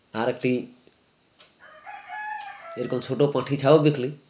আর একটি এরকম ছোটো পঠি ছাও বিকলি